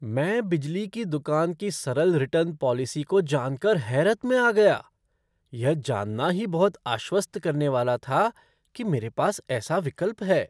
मैं बिजली की दुकान की सरल रिटर्न पॉलिसी को जान कर हैरत में आ गया, यह जानना ही बहुत आश्वस्त करने वाला था कि मेरे पास ऐसा विकल्प है।